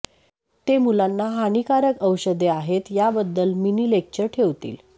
ते मुलांना हानीकारक औषधे आहेत याबद्दल मिनी लेक्चर ठेवतील